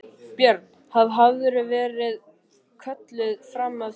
Björn: Haf, hafðirðu verið kölluð fram að því?